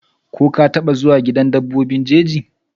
ko ka taba zuwa gidan dabbobi jeji?